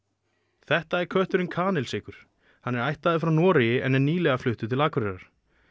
þetta er kötturinn Kanilsykur hann er ættaður frá Noregi en er nýlega fluttur til Akureyrar